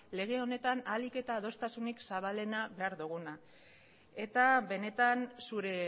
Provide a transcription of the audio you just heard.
lege honetan ahalik eta adostasunik zabalena behar duguna eta benetan zure